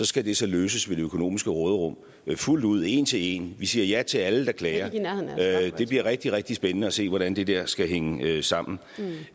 skal det så løses ved det økonomiske råderum fuldt ud en til en vi siger ja til alle der klager det bliver rigtig rigtig spændende at se hvordan det der skal hænge sammen